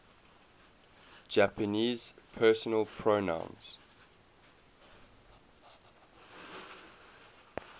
japanese personal pronouns